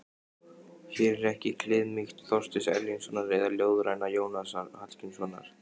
Hér er ekki kliðmýkt Þorsteins Erlingssonar eða ljóðræna Jónasar Hallgrímssonar.